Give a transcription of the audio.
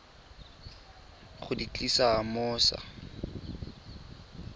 go di tlisa mo sa